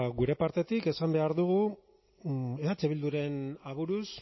gure partetik esan behar dugu eh bilduren aburuz